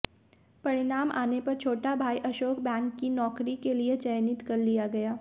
परिणाम आने पर छोटा भाई अशोक बैंक की नौकरी के लिए चयनित कर लिया गया